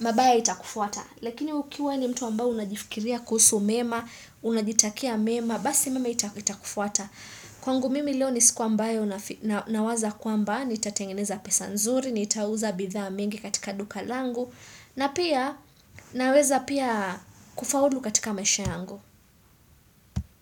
mabayo itakufuata. Lakini ukiwa ni mtu ambayo unajifikiria kusu mema, unajitakia mema, basi mema itakufuata. Kwangu mimi leo ni siku ambayo na waza kwamba nitatengeneza pesa nzuri, nitauza bidha mingi katika duka langu na pia naweza pia kufaulu katika maisha yangu.